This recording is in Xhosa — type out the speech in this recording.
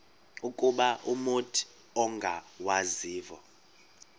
ukuba umut ongawazivo